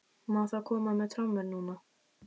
Má þá koma með trommur núna?